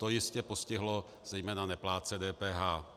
To jistě postihlo zejména neplátce DPH.